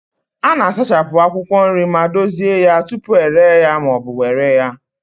A na-asachapụ akwụkwọ nri ma dozie ya tupu ere ya ma ọ bụ were ya.